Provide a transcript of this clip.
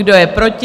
Kdo je proti?